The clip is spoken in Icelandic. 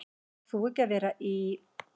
Átt þú ekki að vera í.-?